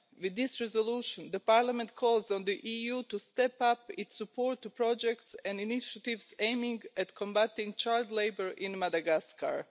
With this resolution, the Parliament calls on the EU to step up its support for projects and initiatives aimed at combating child labour in Madagascar.